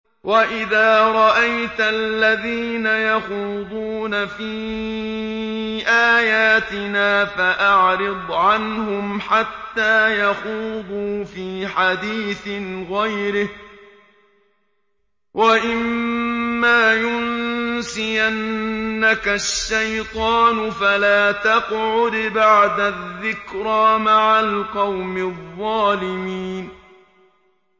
وَإِذَا رَأَيْتَ الَّذِينَ يَخُوضُونَ فِي آيَاتِنَا فَأَعْرِضْ عَنْهُمْ حَتَّىٰ يَخُوضُوا فِي حَدِيثٍ غَيْرِهِ ۚ وَإِمَّا يُنسِيَنَّكَ الشَّيْطَانُ فَلَا تَقْعُدْ بَعْدَ الذِّكْرَىٰ مَعَ الْقَوْمِ الظَّالِمِينَ